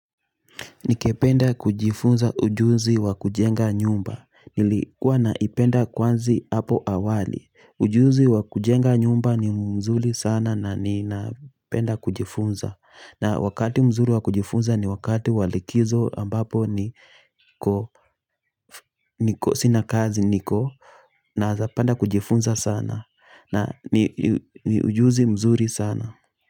Ningependa kujifunza ujuzi wa kujenga nyumba. Nilikuwa naipenda kwanzi hapo awali. Ujuzi wa kujenga nyumba ni mzuri sana na ninapenda kujifunza. Na wakati mzuri wa kujifunza ni wakati wa likizo ambapo ni kosi na kazi niko. Naezapenda kujifunza sana. Na ni ujuzi mzuri sana.